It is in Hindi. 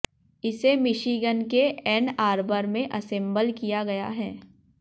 इसे मिशीगन के एन आर्बर में असेंबल किया गया है